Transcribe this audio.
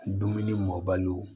Dumuni mɔbaliw